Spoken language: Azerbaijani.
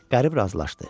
Qərib razılaşdı.